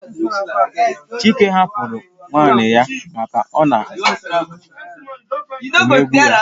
Chike hapụrụ nwunye ya maka na ọ na-emegbu ya